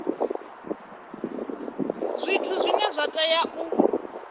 zwithu zwine zwa tea u